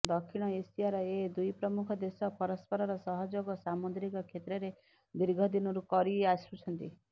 ଦକ୍ଷିଣ ଏସିଆର ଏ ଦୁଇ ପ୍ରମୁଖ ଦେଶ ପରସ୍ପରର ସହଯୋଗ ସାମୁଦ୍ରିକ କ୍ଷେତ୍ରରେ ଦୀର୍ଘଦିନରୁ କରି ଆସୁଛନ୍ତି